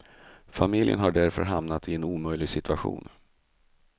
Familjen har därför hamnat i en omöjlig situation.